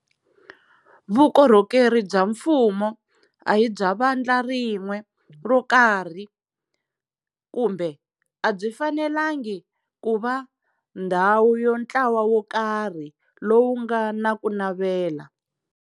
Vukorhokeri bya mfumo a hi bya vandla rin'we ro karhi, kumbe a byi fanelangi ku va ndhawu ya ntlawa wo karhi lowu nga na ku navela.